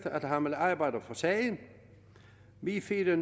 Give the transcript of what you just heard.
at han vil arbejde for sagen vi fire